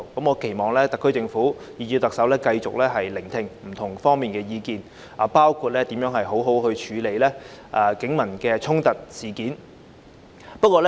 我期望特區政府及特首繼續聆聽不同方面的意見，包括如何妥善處理警民衝突。